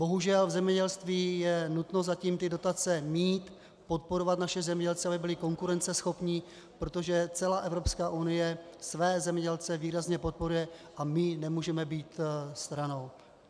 Bohužel v zemědělství je nutno zatím ty dotace mít, podporovat naše zemědělce, aby byli konkurenceschopní, protože celá Evropská unie své zemědělce výrazně podporuje a my nemůžeme být stranou.